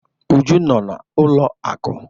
Uju no na n'ụlọ akụ.